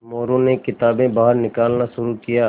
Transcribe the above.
मोरू ने किताबें बाहर निकालना शुरू किया